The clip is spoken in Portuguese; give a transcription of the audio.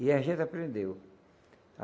E a gente aprendeu.